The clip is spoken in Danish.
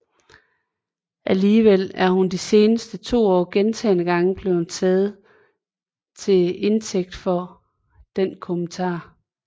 Alligevel er hun de seneste to år gentagne gange blevet taget til indtægt for den kommentar